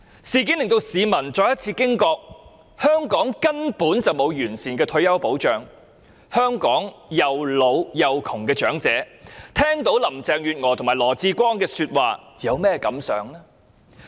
事件令市民再次驚覺香港根本沒有完善的退休保障，香港既老且窮的長者聽到林鄭月娥和羅致光的說話，有何感想呢？